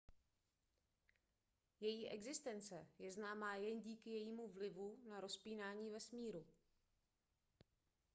její existence je známá jen díky jejímu vlivu na rozpínání vesmíru